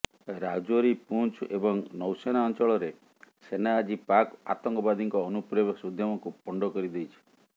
ରାଜୌରି ପୁଞ୍ଚ୍ ଏବଂ ନୌସେନା ଅଂଚଳରେ ସେନା ଆଜି ପାକ୍ ଆତଙ୍କବାଦୀଙ୍କ ଅନୁପ୍ରବେଶ ଉଦ୍ୟମକୁ ପଣ୍ଡ କରିଦେଇଛି